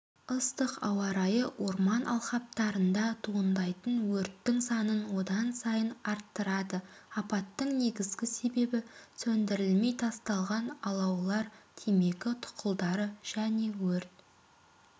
ыстық ауа райы орман алқаптарында туындайтын өрттің санын одан сайын арттырады апаттың негізгі себебі сөндірілмей тасталған алаулар темекі тұқылдары және өрт